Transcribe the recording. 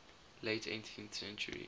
late eighteenth century